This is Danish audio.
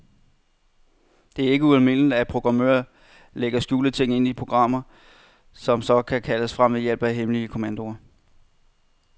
Det er ikke ualmindeligt, at programmører lægger skjulte ting ind i programmer, som så kan kaldes frem ved hjælp af hemmelige kommandoer.